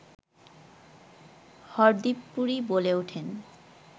হরদীপ পুরী বলে ওঠেন